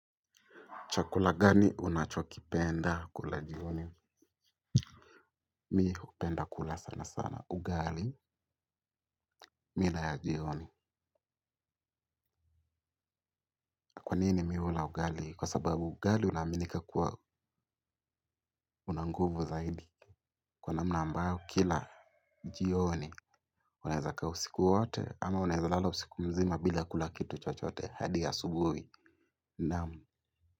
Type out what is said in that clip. Chakula gani unachokipenda kula jioni. Mimi hupenda kula sana sana. Ugali, mida ya jioni. Kwanini mimi hula ugali. Kwa sababu ugali unaaminika kuwa una nguvu zaidi. Kwa namna ambayo kila jioni. Unaezakaa usiku wote ama unaeza lala usiku mzima bila kula kitu chochote hadi asubuhi. Naam.